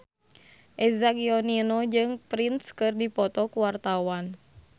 Eza Gionino jeung Prince keur dipoto ku wartawan